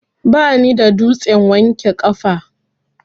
Bani da dutsen wanke kafa.